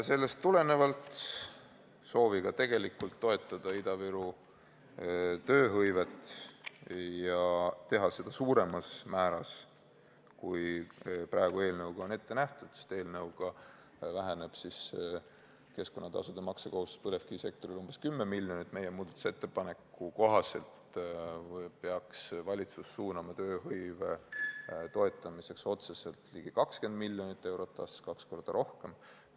Sellest tulenevalt, sooviga tegelikult toetada Ida-Viru tööhõivet ja teha seda suuremas määras, kui praegu eelnõuga on ette nähtud, sest eelnõuga väheneb keskkonnatasude maksmise kohustus põlevkivisektoril umbes 10 miljoni võrra, peaks meie muudatusettepaneku kohaselt valitsus suunama tööhõive toetamiseks otseselt ligi 20 miljonit eurot aastas, kaks korda rohkem.